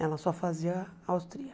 Ela só fazia austríaca.